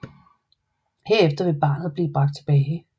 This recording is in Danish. Herefter vil barnet blive bragt tilbage